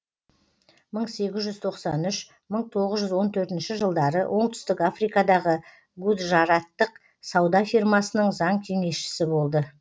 мың сегіз жүз тоқсан үш мың тоғыз жүз он төртінші жылдары оңтүстік африкадағы гуджараттық сауда фирмасының заң кеңесшісі болды